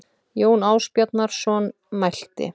Jón Ásbjarnarson mælti